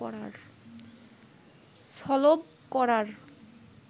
সলব করার